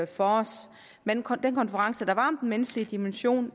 for os men på den konference der var om den menneskelige dimension